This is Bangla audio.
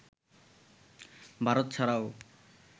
ভারত ছাড়াও